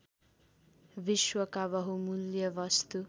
विश्वका बहुमुल्य वस्तु